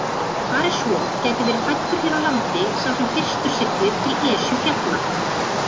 Fari svo gæti verið fæddur hér á landi sá sem fyrstur siglir til Esjufjalla.